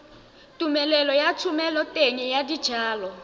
tumelelo ya thomeloteng ya dijalo